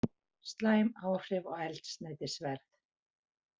Slæm áhrif á eldsneytisverð